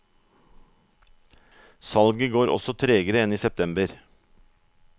Salget går også tregere enn i september.